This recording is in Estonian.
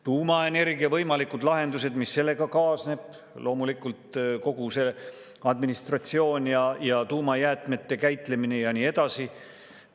Tuumaenergia võimalikud lahendused ja kõik, mis sellega kaasneb, loomulikult kogu see administratsioon ja tuumajäätmete käitlemine ja nii edasi.